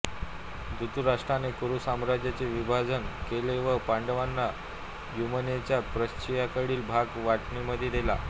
धृतराष्ट्राने कुरू साम्राज्याचे विभाजन केले व पांडवांना यमुनेच्या पश्चिमेकडील भाग वाटणीमध्ये दिला